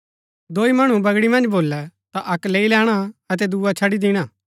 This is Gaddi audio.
दोई मणु बगड़ी मन्ज भोलै ता अक्क लैई लैणा अतै दुआ छड़ी दिणा